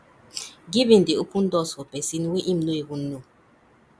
giving dey open doors for pesin wey im no even know